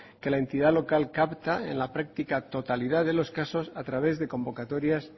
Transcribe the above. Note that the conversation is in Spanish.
que la entidad local capta en la práctica totalidad de los casos a través de convocatorias